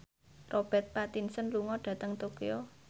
Robert Pattinson lunga dhateng Tokyo